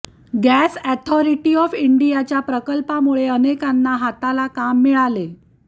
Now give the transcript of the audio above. gas authority of इंडियाच्या प्रकल्पामुळे अनेकांच्या हाताला काम मिळाले